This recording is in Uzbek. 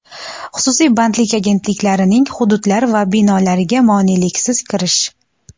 xususiy bandlik agentliklarining hududlari va binolariga moneliksiz kirish;.